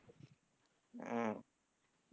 உம்